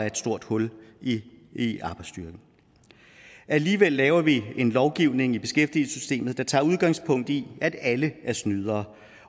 et stort hul i arbejdsstyrken alligevel laver vi en lovgivning i beskæftigelsessystemet der tager udgangspunkt i at alle er snydere